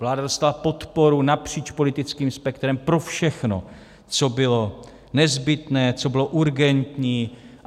Vláda dostala podporu napříč politickým spektrem pro všechno, co bylo nezbytné, co bylo urgentní.